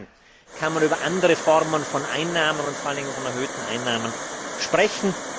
Erst dann kann man über andere Formen von Einnahmen und vor allen Dingen von erhöhten Einnahmen sprechen.